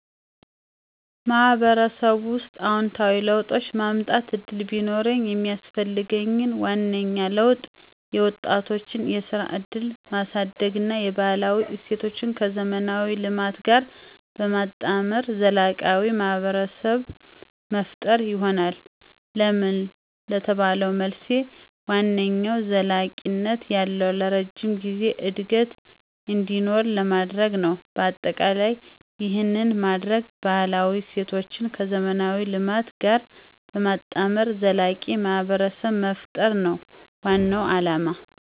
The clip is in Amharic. ማህበረሰቡ ውስጥ አዎንታዊ ለውጥ የማምጠት እድል ቢኖርኝ የሚስፈልገኝ ዋነኛው ለውጥ የወጣቶችን የስራ እድልን ማሳድግ እና የባህላዊ እሴቶችን ከዘመናዊ ልማት ጋር በማጣመር ዘላቂ ማህብረሰብ መፈጠር ይሆናል። ለምን ለተባለው መልሴ ዋነኛው ዘለቂነት ያለው(ለረጅም ጊዜ) እድገት እንዲኖር ለማድርግ ነው። በአጠቃላይ ይህን በማደርግ ባህላዊ እሴቶችን ከዘመናዊ ልማት ጋር በማጣመር ዘላቂ ማህብረሰብ መፍጠር ነው ዋናው አለማ።